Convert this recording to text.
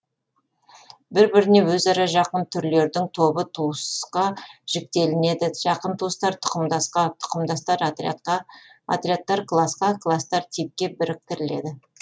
бір біріне өзара жақын түрлердің тобы туысқа жіктелінеді жақын туыстар тұқымдасқа тұқымдастар отрядқа отрядтар класқа кластар типке біріктіріледі